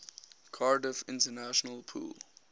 cardiff international pool